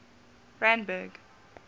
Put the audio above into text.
randburg